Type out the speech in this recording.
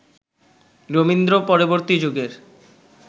রবীন্দ্র পরবর্তী যুগের